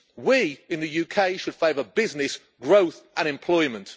We, in the UK, should favour business, growth and employment.